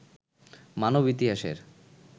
মানব ইতিহাসের